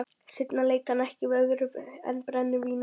Seinna leit hann ekki við öðru en brennivíni.